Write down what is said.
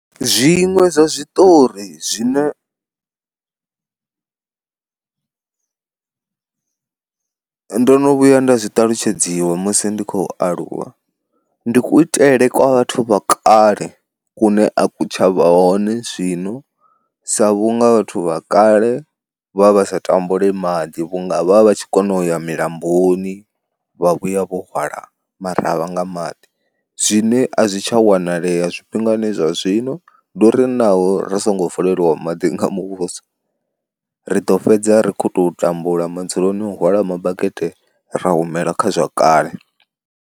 Zwiṅwe zwa zwiṱori zwine ndo no vhuya nda zwi ṱalutshedziwa musi ndi khou aluwa, ndi kuitele kwa vhathu vha kale kune a ku tshavha hone zwino sa vhunga vhathu vha kale vha vha sa tambule maḓi vhunga vha tshi kona uya milamboni vha vhuya vho hwala maravha nga maḓi zwine a zwi tsha wanalea zwifhingani zwa zwino, ndi uri naho ri songo vuleliwa maḓi nga muvhuso ri ḓo fhedza ri khou tou tambula madzuloni o hwala mabakete ra humela kha zwa kale.